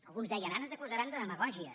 alguns deien ara ens acusaran de demagògia